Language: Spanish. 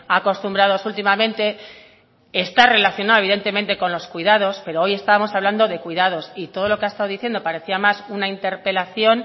acostumbrados últimamente está relacionado evidentemente con los cuidados pero hoy estamos hablando de cuidados y todo lo que ha estado diciendo parecía más una interpelación